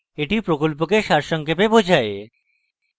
এটি প্রকল্পকে সারসংক্ষেপে বোঝায়